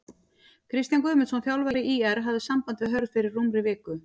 Kristján Guðmundsson þjálfari ÍR hafði samband við Hörð fyrir rúmri viku.